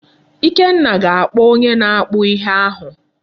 Ikenna ga-akpọ onye na-akpụ ihe ahụ.